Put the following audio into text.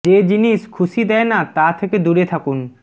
যে জিনিস খুশি দেয় না তা থেকে দূরে থাকুন